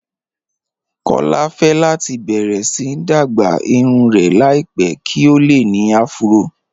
Kọlá fẹ́ láti bẹ̀rẹ̀ sí dágbà irùn rẹ̀ láìpẹ̀ kí o lè ní àfúró